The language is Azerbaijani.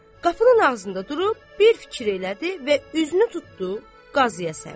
Qapının ağzında durub bir fikir elədi və üzünü tutdu Qazıyasəmd.